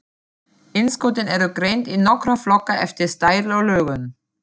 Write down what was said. Innskotin eru greind í nokkra flokka eftir stærð og lögun.